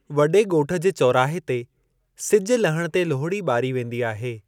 वॾे ॻोठ जे चौराहे ते सिज लहणु ते लोहड़ी ॿारी वेंदी आहे।